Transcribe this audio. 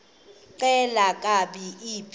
xelel kabs iphi